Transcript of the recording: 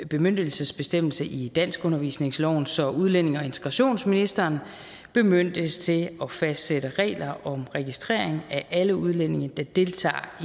bemyndigelsesbestemmelse i danskundervisningsloven så udlændinge og integrationsministeren bemyndiges til at fastsætte regler om registrering af alle udlændinge der deltager